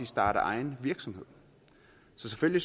starter egen virksomhed så selvfølgelig